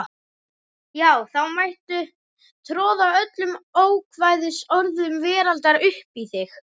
Já þá mætti troða öllum ókvæðisorðum veraldar uppí þig.